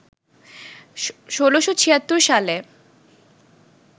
১৬৭৬ সালে